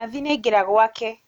Nathi nĩaingĩra gwake